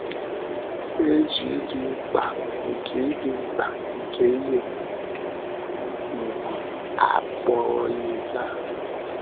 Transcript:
Ị̀ na - eji ịdị mkpa nke ịdị mkpa nke ihe ùgwù a akpọrọ ihe taa?